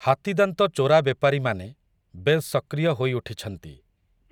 ହାତୀଦାନ୍ତ ଚୋରା ବେପାରୀମାନେ, ବେଶ୍ ସକ୍ରିୟ ହୋଇଉଠିଛନ୍ତି ।